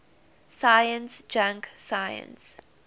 science junk science